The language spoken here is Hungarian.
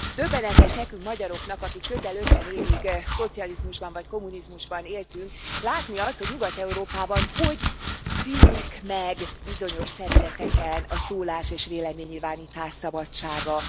Döbbenetes nekünk, magyaroknak, akik közel ötven évig szocializmusban vagy kommunizmusban éltünk, látni azt, hogy Nyugat Európában hogy szűnik meg bizonyos területeken a szólás és véleménynyilvánítás szabadsága.